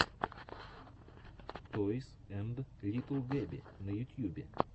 тойс энд литтл гэби на ютьюбе